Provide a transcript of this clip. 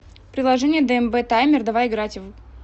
приложение дмб таймер давай играть в